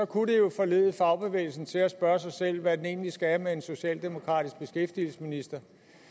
kunne det jo forlede fagbevægelsen til at spørge sig selv hvad den egentlig skal med en socialdemokratisk beskæftigelsesminister